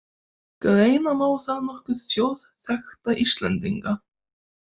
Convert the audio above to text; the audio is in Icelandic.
Greina má þar nokkra þjóðþekkta Íslendinga